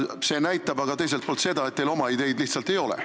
See näitab aga teiselt poolt seda, et teil oma ideid lihtsalt ei ole.